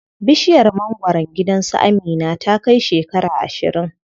Bishiyar mangwaron gidan su Amina ta kai shekara ashirin.